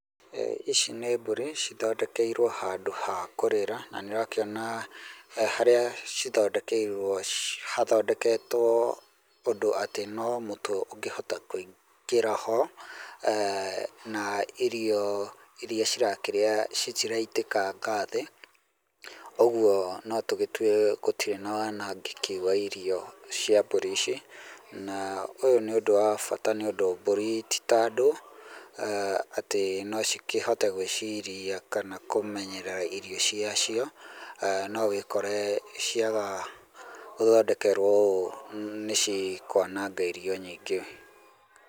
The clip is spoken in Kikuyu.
Ici nĩ mbũri cithondekeirwo handũ ha kũrĩĩra, na nĩũrakĩona harĩa cithondekeirwo hathondeketwo ũndũ atĩ no mũtwe ũngĩhota kũingĩra ho, na irio iria cirakĩrĩa citiraitĩkanga thĩ, ũguo no tũgĩtue gũtirĩ na wanangĩki wa irio cia mbũri ici, na ũyũ nĩ ũndũ wa bata nĩũndũ mbũri ti ta andũ atĩ nocikĩhote gwĩciria kana kũmenyerera irio ciacio, no ũkore wĩkore ciaga gũthondekerwo ũũ nĩcikwananga irio nyingĩ.